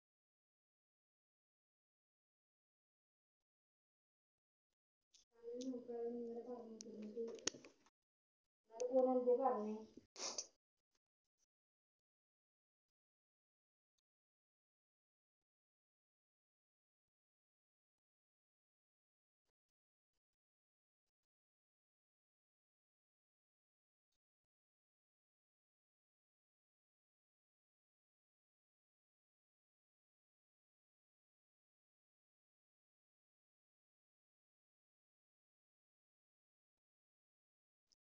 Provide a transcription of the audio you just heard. അത് എന്തെ പറഞ്ഞേ